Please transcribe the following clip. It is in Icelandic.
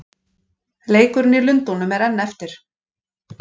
Leikurinn í Lundúnum er enn eftir.